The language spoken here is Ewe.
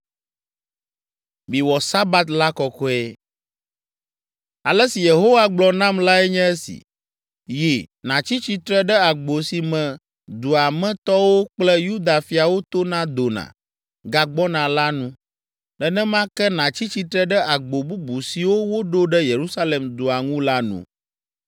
Ale si Yehowa gblɔ nam lae nye esi: “Yi, nàtsi tsitre ɖe agbo si me dua me tɔwo kple Yuda fiawo tona dona, gagbɔna la nu. Nenema ke, nàtsi tsitre ɖe agbo bubu siwo woɖo ɖe Yerusalem dua ŋu la nu.